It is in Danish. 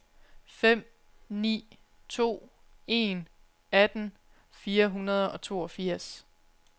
fem ni to en atten fire hundrede og toogfirs